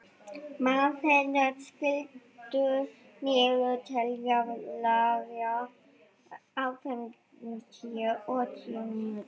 Marthen, stilltu niðurteljara á fimmtíu og sjö mínútur.